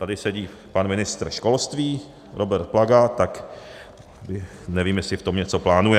Tady sedí pan ministr školství Robert Plaga, tak nevím, jestli v tom něco plánuje.